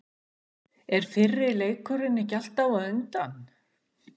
Er fyrri leikurinn ekki alltaf á undan?